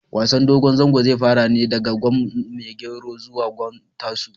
Wasan dogon zango zai fara ne daga gwan maigero zuwa gwan tasu